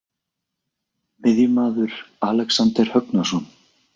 Miðjumaður: Alexander Högnason.